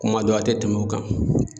Kuma dɔ a tɛ tɛmɛ o kan.